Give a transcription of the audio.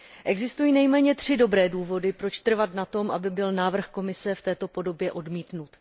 Existují nejméně tři dobré důvody, proč trvat na tom, aby byl návrh Komise v této podobě odmítnut.